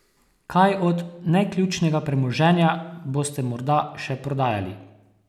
Kaj od neključnega premoženja boste morda še prodajali?